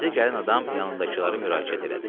Təzə gələn adam yanındakılara müraciət elədi.